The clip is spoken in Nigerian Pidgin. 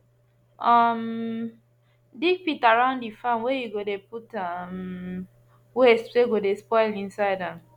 um dig pit around the farm whey you go dey put um waste wey go dey spoil inside am